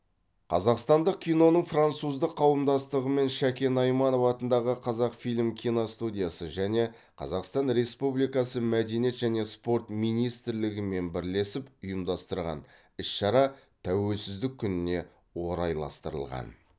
қазақстандық киноның француздық қауымдастығы мен шәкен айманов атындағы қазақфильм киностудиясы және қазақстан республикасы мәдениет және спорт министрлігімен бірлесіп ұйымдастырған іс шара тәуелсіздік күніне орайластырылған